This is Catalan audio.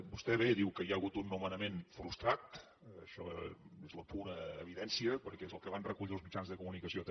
vostè bé diu que hi ha hagut un nomenament frustrat això és la pura evidència perquè és el que van recollir els mitjans de comunicació també